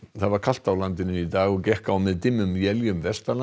það var kalt á landinu í dag og gekk á með dimmum éljum